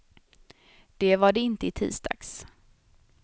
Det var det inte i tisdags.